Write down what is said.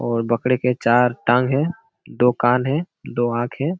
और बकरे के चार टांग है दो कान है दो आंख है।